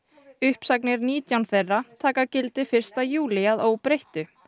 uppsagnir nítján þeirra taka gildi fyrsta júlí að óbreyttu